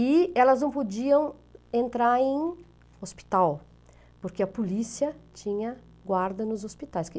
E elas não podiam entrar em hospital, porque a polícia tinha guarda nos hospitais.